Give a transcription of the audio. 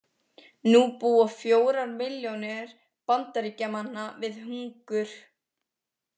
Nú búa fjórar milljónir Bandaríkjamanna við hungur.